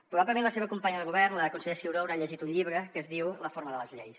probablement la seva companya de govern la consellera ciuró deu haver llegit un llibre que es diu la forma de les lleis